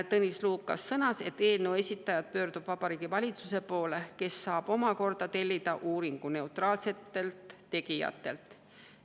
Tõnis Lukas sõnas, et eelnõu esitaja pöördub Vabariigi Valitsuse poole, kes saab omakorda tellida uuringu neutraalsetelt tegijatelt.